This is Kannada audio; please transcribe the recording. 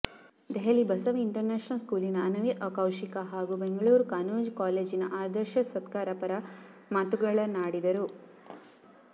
ದೆಹಲಿಯ ಬಸವ ಇಂಟರ್ನ್ಯಾಶನಲ್ ಸ್ಕೂಲಿನ ಅನವಿ ಕೌಶಿಕ ಹಾಗೂ ಬೆಂಗಳೂರಿನ ಕಾನೂನು ಕಾಲೇಜಿನ ಆದರ್ಶ ಸತ್ಕಾರ ಪರ ಮಾತುಗಳನ್ನಾಡಿದರು